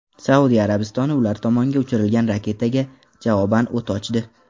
Saudiya Arabistoni ular tomonga uchirilgan raketaga javoban o‘t ochdi.